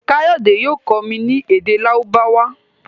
Kayode yóò kọ mí ní èdè Lárúbáwá.